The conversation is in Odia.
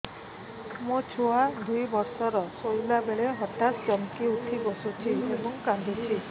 ମୋ ଛୁଆ ଦୁଇ ବର୍ଷର ଶୋଇଲା ବେଳେ ହଠାତ୍ ଚମକି ଉଠି ବସୁଛି ଏବଂ କାଂଦୁଛି